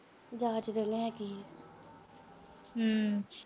ਹੂੰ।